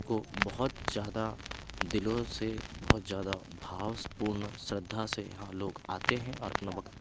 को बहुत ज्यादा दिलों से बहुत ज्यादा भावस पूर्ण श्रद्धा से लोग आते हैं और अपना वक्त--